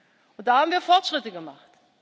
Und da haben wir Fortschritte gemacht.